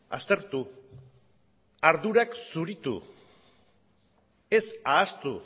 aztertu ardurak zuritu ez ahaztu